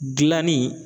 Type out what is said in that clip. Gilanni